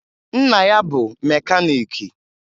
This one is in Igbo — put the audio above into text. Nna ya bụ mekaniiki